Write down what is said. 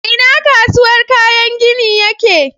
A ina kasuwar kayan gini yake?